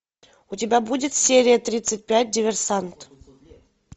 у тебя будет серия тридцать пять диверсант